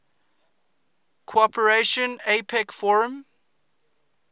cooperation apec forum